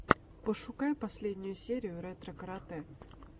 пошукай последнюю серию ретро карате